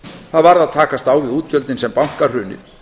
það varð að takast á við útgjöldin sem bankahrunið